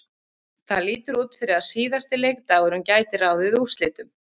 Það lítur út fyrir að síðasti leikdagurinn gæti ráðið úrslitum.